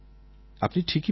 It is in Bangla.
আপনি ঠিকই বলেছেন